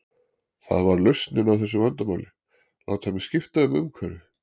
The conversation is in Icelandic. Það var lausnin á þessu vandamáli, láta mig skipta um umhverfi.